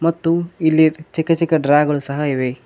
ಮತ್ತು ಇಲ್ಲಿ ಚಿಕ್ಕ ಚಿಕ್ಕ ಡ್ರಾಗಳು ಸಹ ಇವೆ.